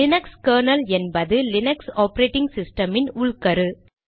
Linux kernel என்பது Linux operating சிஸ்டமின் உள்கரு